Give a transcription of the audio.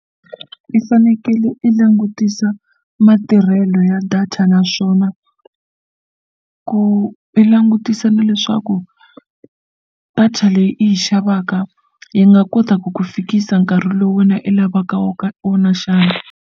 I fanekele i langutisa matirhelo ya data naswona ku i langutisa na leswaku data leyi i yi xavaka yi nga kota ku ku fikisa nkarhi lowu wena i lavaka wo ka wona xana.